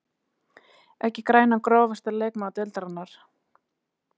Ekki grænan Grófasti leikmaður deildarinnar?